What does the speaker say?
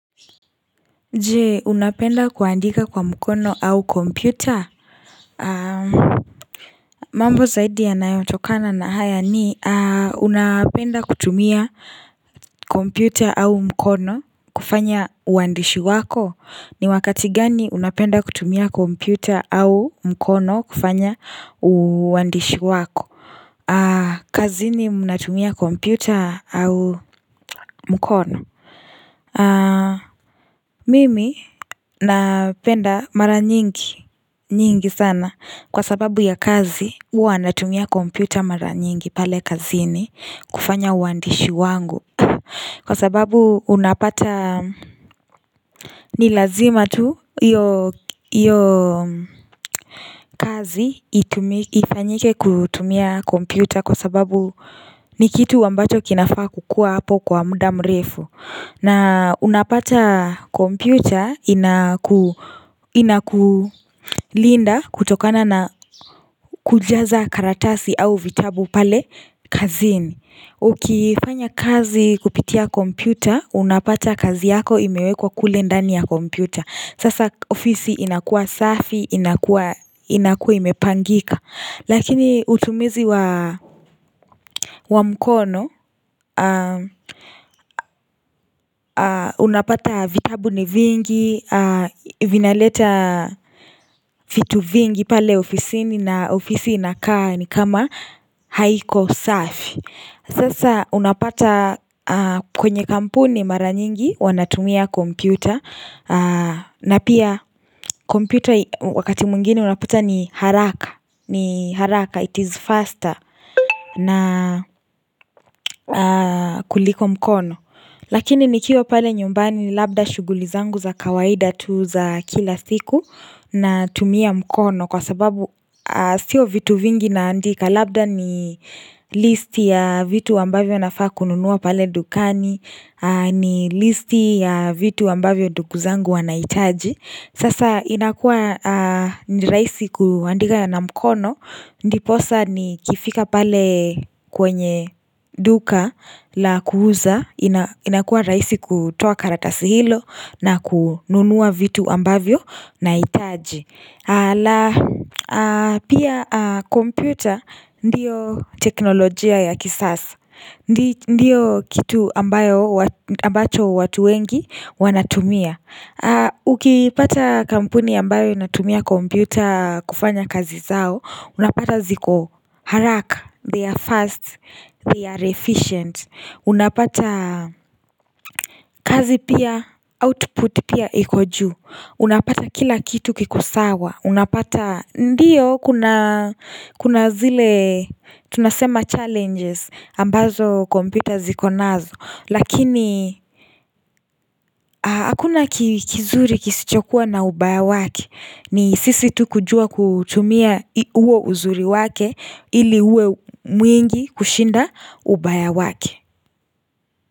Je unapenda kuandika kwa mkono au kompyuta mambo zaidi yanayotokana na haya ni unapenda kutumia kompyuta au mkono kufanya uandishi wako ni wakati gani unapenda kutumia kompyuta au mkono kufanya uandishi wako kazini unatumia kompyuta au mkono Mimi napenda mara nyingi nyingi sana Kwa sababu ya kazi huwa natumia kompyuta mara nyingi pale kazini kufanya uandishi wangu Kwa sababu unapata ni lazima tu Iyo kazi ifanyike kutumia kompyuta Kwa sababu ni kitu ambacho kinafaa kukua hapo kwa muda mrefu na unapata kompyuta inakulinda kutokana na kujaza karatasi au vitabu pale kazini Ukifanya kazi kupitia kompyuta unapata kazi yako imewekwa kule ndani ya kompyuta Sasa ofisi inakua safi inakua imepangika Lakini utumizi wa mkono Unapata vitabu ni vingi Vinaleta vitu vingi pale ofisini na ofisi ina kaa ni kama haiko safi Sasa unapata kwenye kampuni mara nyingi huwa natumia kompyuta na pia kompyuta wakati mwingine unapata ni haraka ni haraka it is faster na kuliko mkono Lakini nikiwa pale nyumbani labda shuguli zangu za kawaida tu za kila siku Natumia mkono kwa sababu Sio vitu vingi naandika Labda ni listi ya vitu ambavyo nafaa kununuwa pale dukani ni listi ya vitu ambavyo ndugu zangu wanaitaji Sasa inakua ni rahisi kuandika ya na mkono Ndiposa ni kifika pale kwenye duka la kuuza inakua rahisi kutoa karatasi hilo na kununua vitu ambavyo nahitaji ala pia kompyuta ndio teknolojia ya kisasa Ndiyo kitu ambayo ambacho watu wengi wanatumia Ukipata kampuni ambayo inatumia kompyuta kufanya kazi zao Unapata ziko haraka, they are fast, they are efficient Unapata kazi pia, output pia iko juu Unapata kila kitu kikosawa Unapata ndio kuna zile tunasema challenges ambazo kompyuta ziko nazo Lakini hakuna kizuri kisichokuwa na ubaya wake ni sisi tu kujua kutumia uo uzuri wake ili uwe mwingi kushinda ubaya wake.